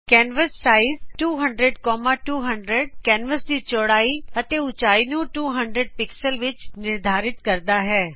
canvas size 200 200 canvas ਦੀ ਚੋੜਾਈ ਅਤੇ ਉਚਾਈ ਨੂੰ 200 ਪਿਕਸਲਜ਼ ਵਿਚ ਨਿਰਧਾਰਿਤ ਕਰਦਾ ਹੈ